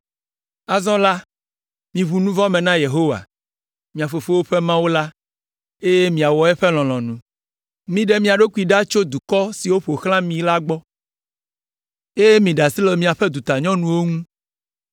Azɔ la, miʋu nu vɔ̃ me na Yehowa, mia fofowo ƒe Mawu la, eye miwɔ eƒe lɔlɔ̃nu. Miɖe mia ɖokuiwo ɖa tso dukɔ siwo ƒo xlã mi la gbɔ, eye miɖe asi le miaƒe dutanyɔnuwo ŋu.”